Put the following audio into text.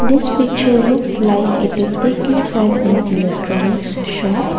this picture looks like it is taken from an electronics shop.